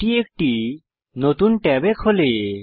এটি একটি নতুন ট্যাবে খোলে